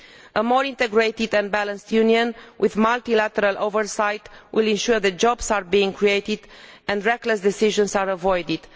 A more integrated and balanced Union with multilateral oversight will ensure that jobs are created and reckless decisions are avoided.